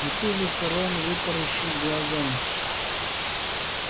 от ужаса рон вытаращил глаза